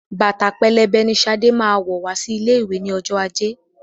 Bàtà pẹlẹbẹ ni Ṣadé máa wọ̀ wá sí ilé ìwé ní ọjọ́ ajé.